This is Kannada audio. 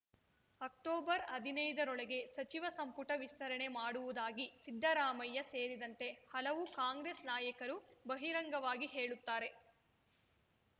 ಅಕ್ಟೊಬರ್ ಹದ್ನೈದರೊಳಗೆ ಸಚಿವ ಸಂಪುಟ ವಿಸ್ತರಣೆ ಮಾಡುವುದಾಗಿ ಸಿದ್ದರಾಮಯ್ಯ ಸೇರಿದಂತೆ ಹಲವು ಕಾಂಗ್ರೆಸ್‌ ನಾಯಕರು ಬಹಿರಂಗವಾಗಿ ಹೇಳುತ್ತಾರೆ